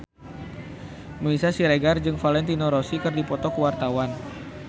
Meisya Siregar jeung Valentino Rossi keur dipoto ku wartawan